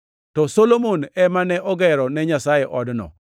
To Solomon ema ne ogero ne Nyasaye odno.